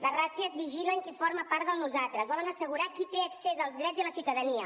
les ràtzies vigilen qui forma part del nosaltres volen assegurar qui té accés als drets i a la ciutadania